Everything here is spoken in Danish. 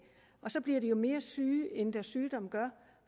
og så bliver de mere syge end det deres sygdom gør